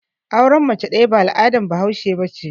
Auren mace ɗaya ba al'adar bahaushe ba ce.